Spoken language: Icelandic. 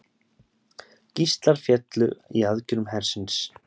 Gíslar féllu í aðgerðum hersins